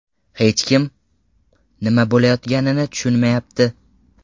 Hech kim nima bo‘layotganini tushunmayapti.